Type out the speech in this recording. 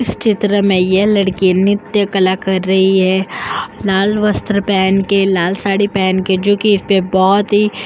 इस चित्र में यह लड़की नृत्य कला कर रही है लाल वस्त्र पहन के लाल साड़ी पहन के जो की इस पे बहोत ही --